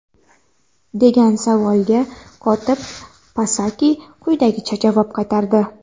degan savolga kotib Psaki quyidagicha javob qaytardi:.